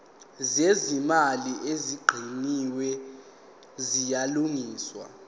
zezimali ezicwaningiwe ziyalungiswa